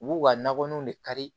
U b'u ka nakɔlanw de kari